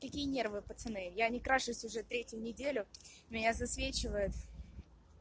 какие нервы пацаны я не крашусь уже третью неделю меня засвечивает